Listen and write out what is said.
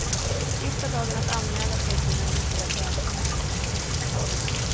Sista dagen att anmäla sig till den roliga tävlingen är i morgon.